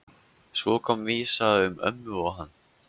Svo kom vísa um ömmu og hann